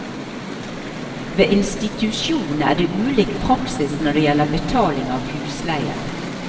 Ved institusjonene er det ulik praksis når det gjelder betaling av husleie.